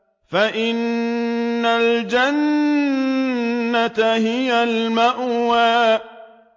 فَإِنَّ الْجَنَّةَ هِيَ الْمَأْوَىٰ